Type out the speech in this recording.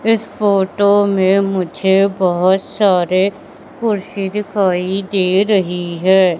इस फोटो में मुझे बहोत सारे कुर्सी दिखाई दे रही है।